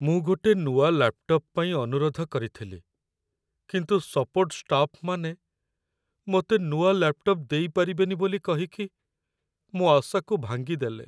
ମୁଁ ଗୋଟେ ନୂଆ ଲ୍ୟାପ୍‌ଟପ୍ ପାଇଁ ଅନୁରୋଧ କରିଥିଲି, କିନ୍ତୁ ସପୋର୍ଟ୍ ଷ୍ଟାଫ୍‌ମାନେ ମତେ ନୂଆ ଲ୍ୟାପ୍‌ଟପ୍ ଦେଇପାରିବେନି ବୋଲି କହିକି ମୋ' ଆଶାକୁ ଭାଙ୍ଗିଦେଲେ ।